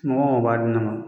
o b'a di ne ma